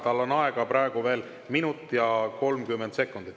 Tal on aega veel 1 minut ja 30 sekundit.